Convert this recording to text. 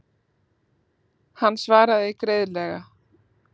Hann svaraði greiðlega.